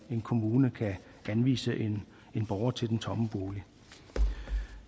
en kommune kan anvise en borger til den tomme bolig